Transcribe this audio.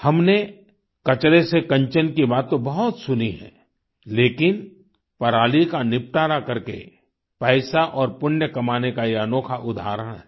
हमने कचरे से कंचन की बात तो बहुत सुनी है लेकिन पराली का निपटारा करके पैसा और पुण्य कमाने का ये अनोखा उदाहरण है